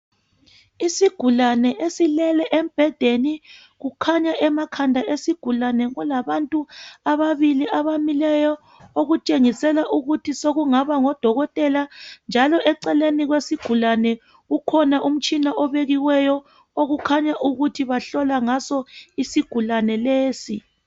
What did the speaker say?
Isigulani esilele embedeni kukhanya emakhanda esigulani kulabantu ababili abamileyo okutshengisela ukuthi sokungaba ngodokotela njalo eceleni kwesigulane ukhona umtshina obekiweyo kukhanya ukuthi bahlola ngaso isigulane lesi